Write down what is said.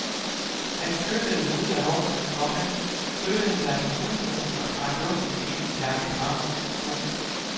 Han styrtede ud af vognen, komma støttede sig til husmuren og trak luften ind i lange drag. punktum